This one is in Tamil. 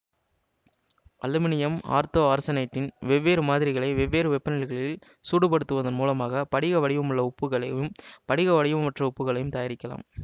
அலுமினியம் ஆர்த்தோஆர்செனேட்டின் வெவ்வேறு மாதிரிகளை வெவ்வேறு வெப்பநிலைகளில் சூடுபடுத்துவதன் மூலமாக படிக வடிவமுள்ள உப்புக்களையும் படிக வடிவமற்ற உப்புகளையும் தயாரிக்கலாம்